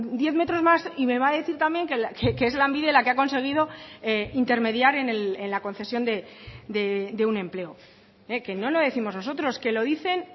diez metros más y me va a decir también que es lanbide la que ha conseguido intermediar en la concesión de un empleo que no lo décimos nosotros que lo dicen